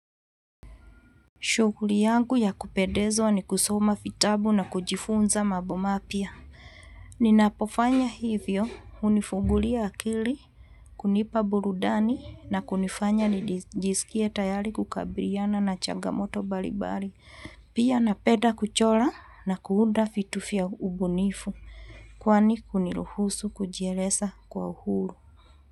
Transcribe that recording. Shughuli yangu ya kupendezwa ni kusoma vitabu na kujifunza mambo mapya. Ninapofanya hivyo, hunifungulia akili, kunipa burudani na kunifanya nijisikie tayari kukabiliana na changamoto mbalimbali. Pia napenda kuchora na kuunda vitu vya ubunifu, kwani kuniruhusu kujieleza kwa uhuru.